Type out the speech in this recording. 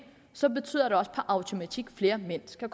så betyder det også per automatik at flere mænd skal